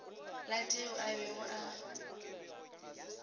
la tšeo a bego a